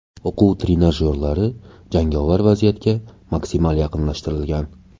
O‘quv trenajyorlari jangovar vaziyatga maksimal yaqinlashtirilgan.